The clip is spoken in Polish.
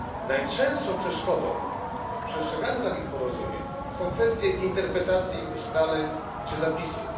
Najczęstszą przeszkodą w przestrzeganiu porozumień są kwestie interpretacji ustaleń czy zapisów.